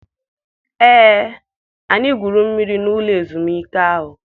Ee, anyị gwuru mmiri n'ụlọ ezumike ahụ.